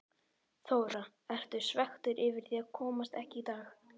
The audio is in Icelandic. Þóra: Ertu svekktur yfir því að komast ekki í dag?